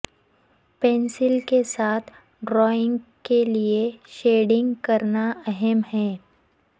pencil کے ساتھ drawing کے لئے شیڈنگ کرنا اہم ہے